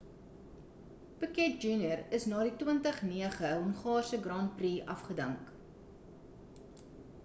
piquet jnr is na die 2009 hongaarse grand prix afgedank